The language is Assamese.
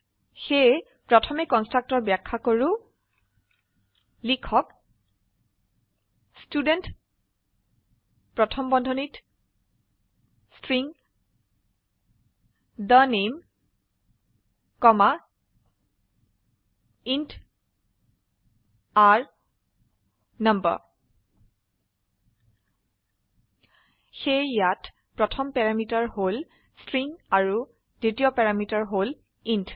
সেয়ে প্ৰথমে কন্সট্ৰাকটৰ ব্যাখ্যা কৰো সেয়ে লিখক ষ্টুডেণ্ট প্ৰথম বন্ধনীত string the name comma int r no সেয়ে ইয়াত প্ৰথম প্যাৰামিটাৰ হল ষ্ট্ৰিং আৰু দ্বিতীয় প্যাৰামিটাৰ হল ইণ্ট